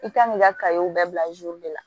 I kan k'i ka bɛɛ bila de la